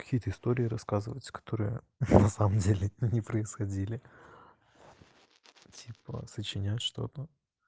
какие-то истории рассказываются которые на самом деле не происходили типа сочинять что-то